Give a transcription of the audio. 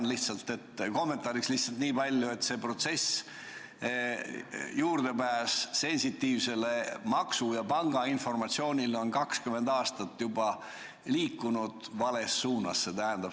Ma lihtsalt ütlen kommentaariks nii palju, et see protsess, juurdepääs sensitiivsele maksu- ja pangainformatsioonile on juba 20 aastat liikunud vales suunas.